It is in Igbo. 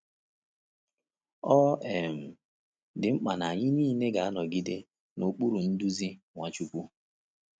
Ọ um dị mkpa na anyị niile ga-anọgide n’okpuru nduzi Nwachukwu.